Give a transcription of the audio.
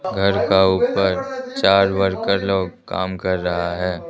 घर का ऊपर चार वर्कर लोग काम कर रहा है।